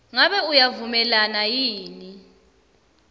ngabe uyavumelana yini